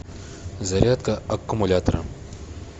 зарядка аккумулятора